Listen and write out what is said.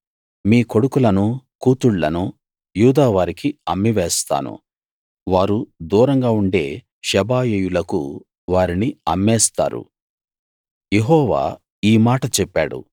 మీ కొడుకులనూ కూతుళ్ళను యూదావారికి అమ్మివేస్తాను వారు దూరంగా ఉండే షెబాయీయులకు వారిని అమ్మేస్తారు యెహోవా ఈ మాట చెప్పాడు